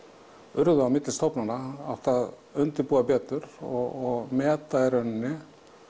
urðu á milli stofnana átt að undirbúa betur og meta í rauninni